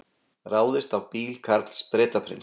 Ráðist á bíl Karls Bretaprins